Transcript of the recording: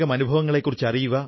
അതേക്കുറിച്ച് എല്ലാവരും കേട്ടു